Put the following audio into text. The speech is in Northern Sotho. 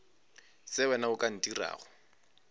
se wena o ka ntirago